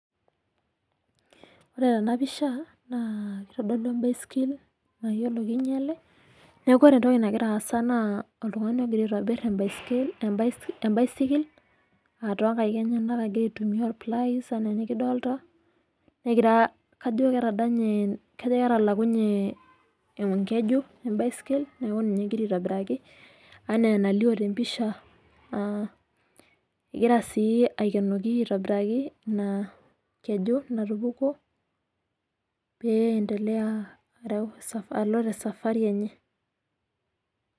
Ore tenapisha naa itodolu ebaisikil mayielo kinyiele neeku ore entoki nagira aas naa oltungani ogira aitobir ebaiskil ebaisikil toonkaek enyenak egira aitumiya olpilais enyenak enaa enikidolta negira Ajo ketadante Ajo ketalakunye enkeju ebaisikil neeku ninye egira aitobiraki enaa enalio tempisha aa egira sii aikenoki aitobiraki ena keju natupukuo pee endelea areu ESA alo esafari enye